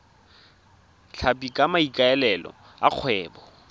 tlhapi ka maikaelelo a kgwebo